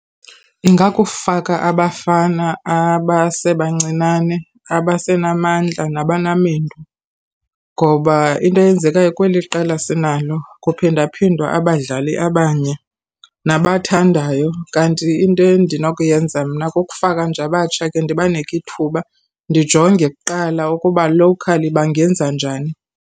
Ingakukuufaka abafana abasebancinane, abasenamandla nabanamendu, ngoba into eyenzekayo kweli qela sinalo kuphindaphindwa abadlali abanye nabathandayo. Kanti into endinokuyenza mna kukufaka nje abatsha ke, ndibaniki thuba. Ndijonge kuqala ukuba lowukhali bangenza njani.